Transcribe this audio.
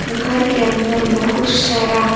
घर के अंदर बहुत सारा--